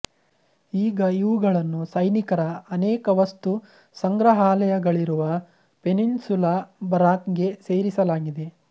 ಈಗ ಇವುಗಳನ್ನು ಸೈನಿಕರ ಅನೇಕ ವಸ್ತು ಸಂಗ್ರಹಾಲಯಗಳಿರುವ ಪೆನಿನ್ಸುಲಾ ಬರಾಕ್ ಗೆ ಸೇರಿಸಲಾಗಿದೆ